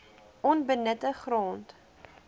onbenutte grond